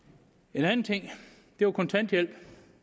en anden ting var kontanthjælp